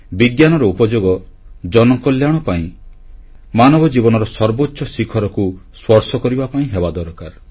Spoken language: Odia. ବିଜ୍ଞାନର ଉପଯୋଗ ଜନକଲ୍ୟାଣ ପାଇଁ ମାନବ ଜୀବନର ସର୍ବୋଚ୍ଚ ଶିଖରକୁ ସ୍ପର୍ଶ କରିବା ପାଇଁ ହେବା ଦରକାର